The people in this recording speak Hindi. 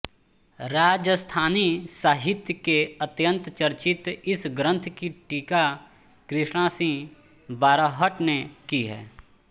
राजस्थानी साहित्य के अत्यन्त चर्चित इस ग्रन्थ की टीका कृष्णसिंह बारहट ने की है